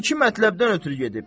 O iki mətləbdən ötrü gedib.